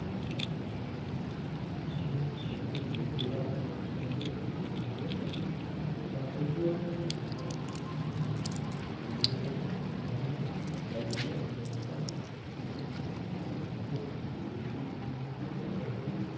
ব্যক্তির বক্তিতা উন্নত উপরিহার্য করে পদ্ধতিও ব্যক্তিরা শিক্ষার খাতে যোগাযোগের অন্যান্য বাএগুলিও উন্নত করে শিক্ষা একজন ব্যক্তিকে প্রযুক্তির উন্নত ব্যবহারকারি